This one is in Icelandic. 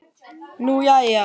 Nú jæja.